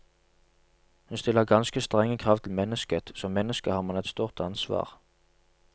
Hun stiller ganske strenge krav til mennesket, som menneske har man et stort ansvar.